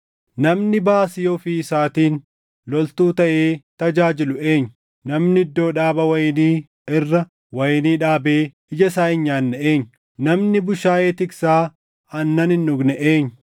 Namni baasii ofii isaatiin loltuu taʼee tajaajilu eenyu? Namni iddoo dhaabaa wayinii irra wayinii dhaabee ija isaa hin nyaanne eenyu? Namni bushaayee tiksaa aannan hin dhugne eenyu?